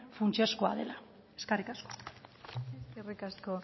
funtsezkoa dela eskerrik asko eskerrik asko